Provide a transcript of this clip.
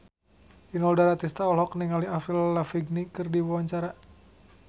Inul Daratista olohok ningali Avril Lavigne keur diwawancara